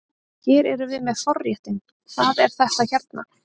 Hérna erum við með forréttinn, hvað er þetta hérna?